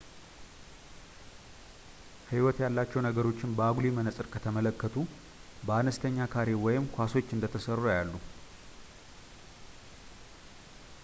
ሕይወት ያላቸውን ነገሮች በአጉሊ መነፅር ከተመለከቱ በአነስተኛ ካሬ ወይም ኳሶች እንደተሠሩ ያያሉ